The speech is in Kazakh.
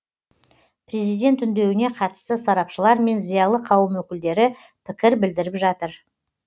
президент үндеуіне қатысты сарапшылар мен зиялы қауым өкілдері пікір білдіріп жатыр